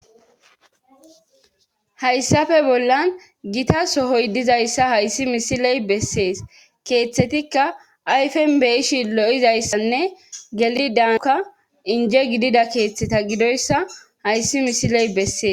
Hayssafe bollan gita sohoy dizayssa hayssi misiley bessees keeththetikka ayfen beyishi lo7izayssanne geli daanka inje gidida keeththeta gidoyssa hayssi misiley bessees